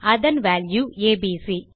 அதன் value ABC